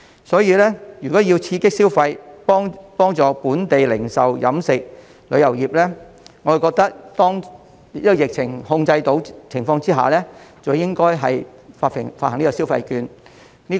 所以，如果要刺激消費，幫助本地零售、飲食及旅遊業，我覺得在疫情受控的情況下，便應該發放消費券。